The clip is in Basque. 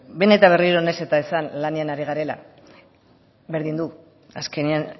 behin eta berriro nahiz eta esan lanean ari garela berdin du azkenean